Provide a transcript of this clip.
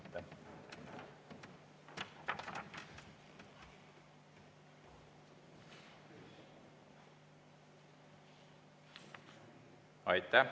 Aitäh!